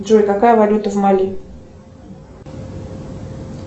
джой какая валюта в мали